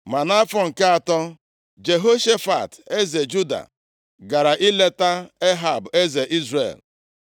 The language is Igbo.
Ma nʼafọ nke atọ, Jehoshafat, eze Juda, gara ileta Ehab eze Izrel.